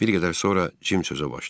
Bir qədər sonra Jim sözə başladı.